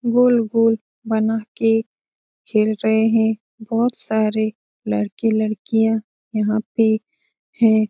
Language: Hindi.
गोल-गोल बना के खेल रहे हैं बहुत सारे लड़के-लड़कियाँ यहाँ पे हैं।